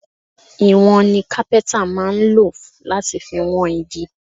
Ìwọ̀n ni kápẹ́ntà máa lò láti fi wọn igi